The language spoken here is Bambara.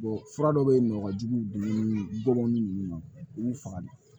fura dɔ bɛ yen nɔ jigiw ni bɔbanin ninnu u b'u faga